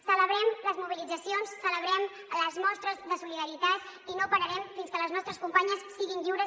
celebrem les mobilitzacions celebrem les mostres de solidaritat i no pararem fins que les nostres companyes siguin lliures